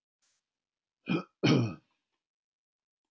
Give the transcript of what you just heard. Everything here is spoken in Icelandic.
Síðar áttum við samleið um tveggja áratuga skeið, ég og Þjóðviljinn.